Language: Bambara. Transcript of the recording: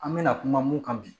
An mɛna kuma mun kan bi